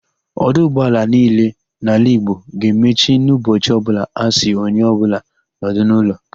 Ọdụ ụgbọaala niile nọ n'ala Igbo ga-emechi n'ụbọchị ọbụla a sị onye ọbụla nọdụ n'ụlọ.